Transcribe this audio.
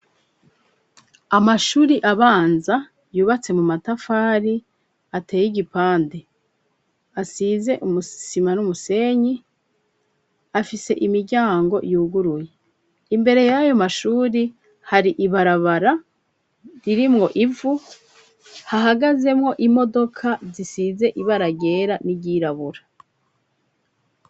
Abanyeshuri biga kw'ishuri ryisumbuye ry'imwaro bariko barakena urukino rw'umupira w'amaboko, ndetse bamwe muri bo bambaye umwambaro wo kwinonoramwo imitsi ufise ibara risa n'ubururu abandi na bo bakaba bambaye umwambaro wo kwinonoramwo imitsi ufise ibara risa n'urwatsi rutoto.